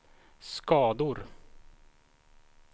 skador